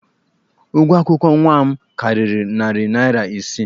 Ụgwọ akwụkwọ nwa m karịrị narị naira isii.